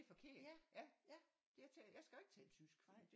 Det er forkert jeg skal jo ikke tale tysk